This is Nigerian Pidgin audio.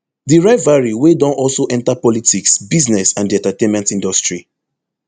di rivalry wey don also enta politics business and di entertainment industry